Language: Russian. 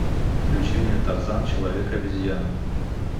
включи мне тарзан человек обезьяна